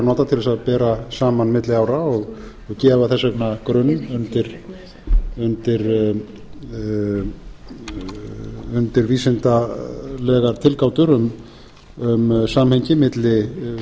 nota til þess að bera saman milli ára og gefa þess vegna grunn undir vísindalegar tilgátur um samhengi